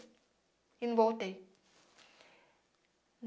E não voltei.